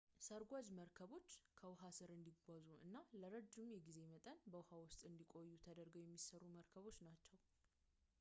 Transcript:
ሰርጓጅ መርከቦች ከውሃ ስር እንዲጓዙ እና ለረዥም የጊዜ መጠን በውሃ ውስጥ እንዲቆዩ ተደርገው የሚሰሩ መርከቦች ናቸው